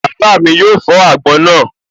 Bàbá mi yóò fọ́ àgbọn náà